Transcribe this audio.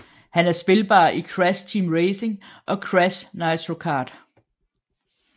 Han er spilbar i Crash Team Racing og Crash Nitro Kart